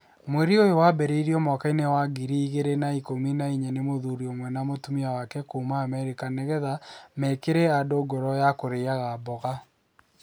Mweri ũyũ wambĩrĩirio mwaka wa ngiri igiri na ikumi na inya nĩ mũthuri ũmwe na mũtumia wake kuuma Amerika nĩgetha mekĩre andũ ngoro yakũrĩaga mboga.